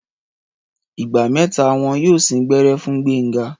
Ìgbà mẹ́ta wón yóò sín gbẹ́rẹ́ fún Gbénga.